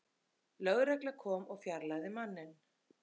Lögregla kom og fjarlægði manninn